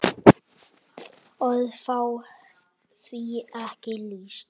Orð fá því ekki lýst.